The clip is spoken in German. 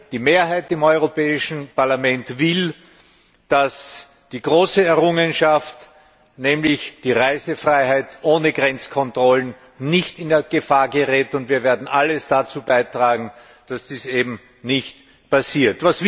Die Mehrheit im Europäischen Parlament will, dass die große Errungenschaft, nämlich die Reisefreiheit ohne Grenzkontrollen, nicht in Gefahr gerät, und wir werden alles dazu beitragen, dass dies nicht passiert.